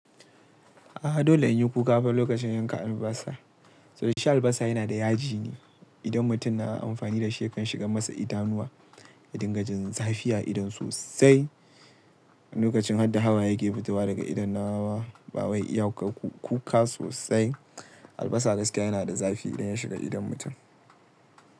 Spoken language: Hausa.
Aha dole in yi kuka lokacin yanka albasa. Saboda shi albasa yana da yaji ne. Idan mutum na amfani da shi ya kan shigan masa idanuwa, ya dinga jin zafi a idon sosai. Lokacin har da hawaye ke fitowa daga idon nawa ba wai iya ku kuka sosai. Albasa gaskiya yana da zafi idan ya shiga idon mutum.